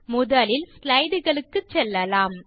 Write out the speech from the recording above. முதலில் ஸ்லைடு களுக்குச் செல்லலாம்